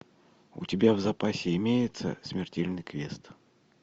у тебя в запасе имеется смертельный квест